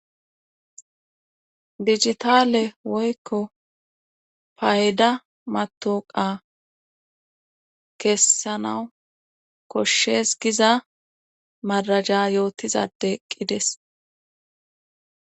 bijitaale woykko payda matoqa kessanawu koshshes giza maraja yootizadeqqides